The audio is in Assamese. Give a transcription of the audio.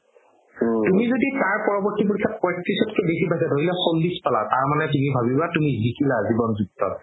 তুমি যদি তাৰ পৰবৰ্তী পৰীক্ষাত পঁইত্ৰিশকতকে বেচি পাইছা ধৰি লোৱা চল্লিশ পালা তাৰ মানে তুমি ভাবিবা জিৱন যুদ্ধত